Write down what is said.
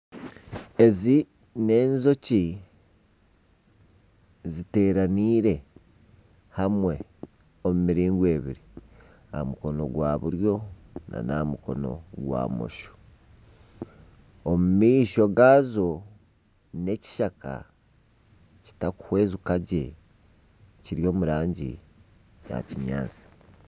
Ezi n'enjoki ziteeranire hamwe omu miringo eibiri aha mukono gwa buryo n'aha mukono gwa bumosho omu maisho gaazo n'ekishaka kitakuhwezeka gye kiri omu rangi ya kinyaatsi.